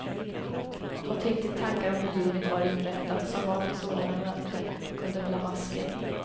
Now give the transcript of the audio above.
Och tänkte tankar om hur livet var inrättat, som bar på sådana möten och kunde hålla masken.